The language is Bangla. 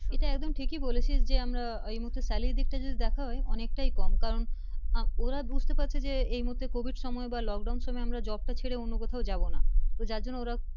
ইটা একদম ঠিকি বলেছিস যে আমরা এই মুহূর্তে salary দিকটা দেখা হয় অনেকটাই কম ওরা বুঝতে পারছে যে এই মুহূর্তে covid সময় বা lock down সময় আমরা job টা ছেড়ে আমরা অন্য কথাও যাবো না তো যার জন্যে ওরা